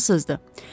Fransızdır.